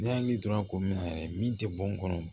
N'i y'a dɔn ko min na yɛrɛ min tɛ bɔn kɔnɔ